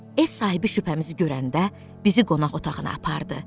Ev sahibi şübhəmizi görəndə bizi qonaq otağına apardı.